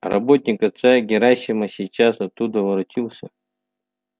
работник отца герасима сейчас оттуда воротился